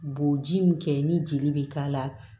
Boji min kɛ ni jeli be k'a la